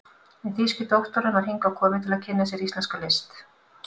en þýski doktorinn var hingað kominn til að kynna sér íslenska list.